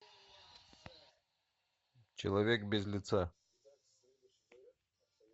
человек без лица